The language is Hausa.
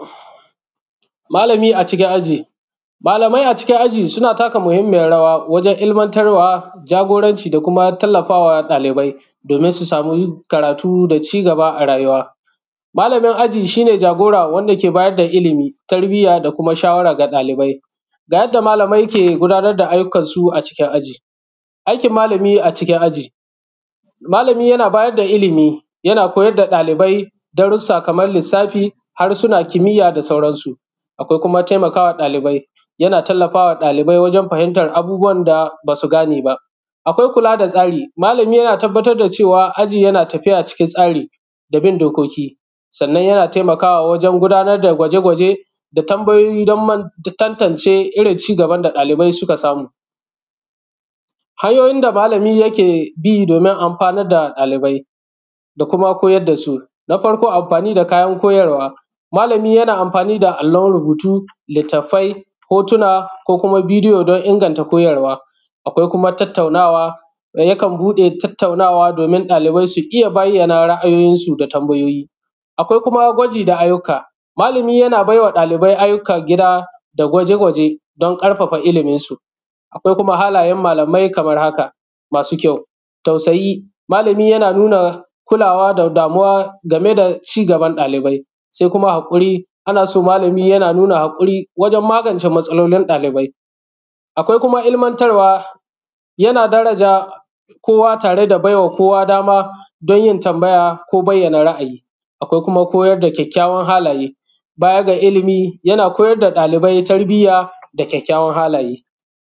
malami acikin aji malamai a cikin aji suna taka muhimmayin rawa wajan ilmantar wa jagoran ci da kuma tallafa wa dalibai domin su samu karatu da cigaba a rayuwa malamin aji shine jagora wanda ke bayadda ilimi tarbiya da kuma shawara ga ɗalibai ga yadda malamai ke gudanar da aiyukan su a cikin aji aikin malami acikin aji malami yana bayadda ilimi yana koyar da dalibai darasa kamar lissafi har suna kimiya da sauran su akwai kuma taimakama ɗalibai yana tallafama ɗalibai wajan fahimtar abubuwan da basu gane akwai kula da tsari malami yana tabbatar da cewa aji yana tafiya cikin tsari da bin dokoki sannan yana taimakawa wajan gudanar da gwaje-gwaje da tambayoyi dan tantance irin cigaban da ɗalibai suka samu hanyoyin da malami yakebi domin anfanar da ɗalibai da kuma koyar dasu na farko anfani da kayar koyarwa malami yana anfani da allon rubutu littafi hotuna ko koma vidiyo dan ingantar koyarwa akwai kuma tattaunawa da yakan bude tattaunawa domin ɗalibai su iya bayyana ra 'ayoyin su da tambayoyi akwai kuma gwaji da aiyuka malami yana baiwa ɗalibai ayyukan gida da gwaje-gwaje da karfafa ilimin su akwai kuma halayan malamai kamar haka masu kyau tausayi malami yana nuna kulawa da damuwa game da cigaban ɗalibai sai kuma hakuri ana so malami yana nuna hakuri wajan magan ce matsalolin dalibai akwai kuma ilmantar wa yana daraja kowa tare da baiwa kowa dama dan yin tambaya ko bayyana ra’ ayi akwai kuma koyar da kyakkyawan halaye baya ga ilimi yana koyar da ɗalibai tarbiya da kʲakkʲawan halaye